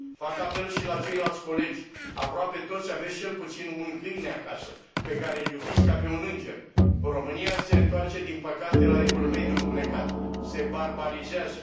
Fac apel și la ceilalți colegi aproape toți aveți cel puțin un câine acasă, pe care îl iubiți ca pe un înger. România se întoarce, din păcate, la Evul Mediu întunecat, se barbarizează.